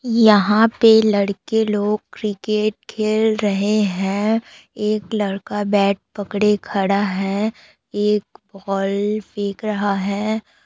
यहाँ पे लड़के लोग क्रिकेट खेल रहे है एक लड़का बेट पकड़े खड़ा है एक बॉल फेंक रहा है।